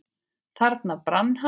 Þarna brann hann.